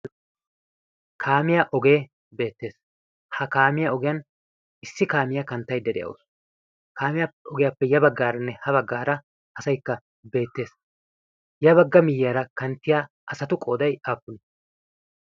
kaamiyaa ogee beettees ha kaamiyaa ogiyan issi kaamiyaa kanttaiddede7ousu kaamiyaa ogiyaappe ya baggaaranne ha baggaara asaikka beettees ya bagga miiyyaara kanttiya asatu qoodai appunii?